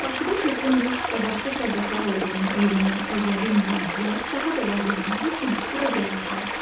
Bakıda çoxlu neft və başqa sərvətlər olduğunu öyrənən əcnəbi milyonçular daha da varlanmaq üçün bura gəlirdilər.